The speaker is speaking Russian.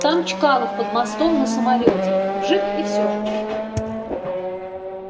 там чкалов под мостом на самолёте вжиг и всё